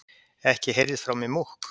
Ekki heyrðist frá mér múkk.